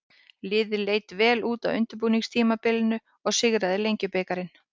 Liðið leit vel út á undirbúningstímabilinu og sigraði Lengjubikarinn.